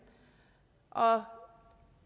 og